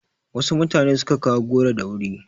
Wasu mutane su ka kawo goro da wuri.